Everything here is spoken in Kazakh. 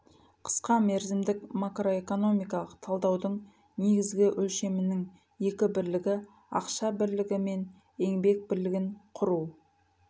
қысқа мерзімдік макроэкономикалық талдаудың негізгі өлшемінің екі бірлігі ақша бірлігі мен еңбек бірлігін құру